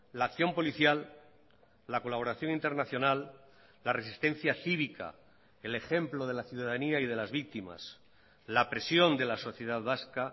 la acción policial la colaboración internacional la resistencia cívica el ejemplo de la ciudadanía y de las víctimas la presión de la sociedad vasca